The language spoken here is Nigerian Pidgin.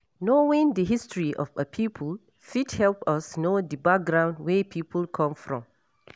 Knowing di history of a pipo fit help us know di background wey pipo come from